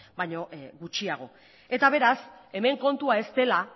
baino gutxiago eta beraz hemen kontua ez dela